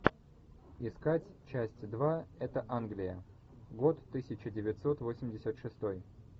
искать часть два это англия год тысяча девятьсот восемьдесят шестой